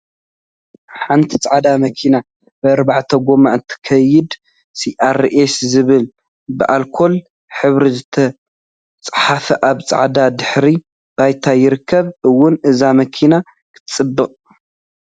ሓንቲ ፃዕዳ መኪና ብአርባዕተ ጎማ እትከይድ ሲአርኤስ ዝብል ብአልኮል ሕብሪ ዝተፃሓፈ አብ ፃዕዳ ድሕረ ባይታ ይርከብ፡፡ እዋይ እዛ መኪና ክትፅብቅ!